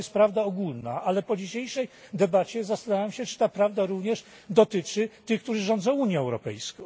To jest prawda ogólna, ale po dzisiejszej debacie zastanawiam się, czy ta prawda również dotyczy tych, którzy rządzą Unią Europejską.